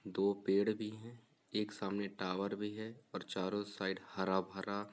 दो पेड भी है एक सामने टावर भी है और चारो साइड हरा भरा--